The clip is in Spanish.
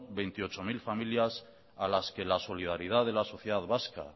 veintiocho mil familias a las que la solidaridad de la sociedad vasca